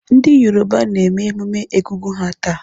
Ndị Yoruba na-eme emume Egungun ha taa.